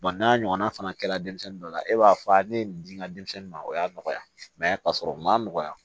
n'a ɲɔgɔnna fana kɛra denmisɛnnin dɔ la e b'a fɔ a ne ye nin di n ka denmisɛnnin ma o y'a nɔgɔya ka sɔrɔ ma nɔgɔya